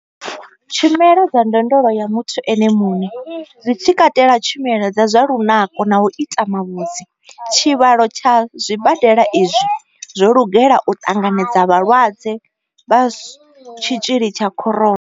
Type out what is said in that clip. Tshumelo dza ndondolo ya muthu ene muṋe, zwi tshi katela tshumelo dza zwa lunako na u ita mavhudzi. Tshivhalo tsha zwibadela izwi zwo lugela u ṱanganedza vhalwadze vha tshitzhili tsha Corona.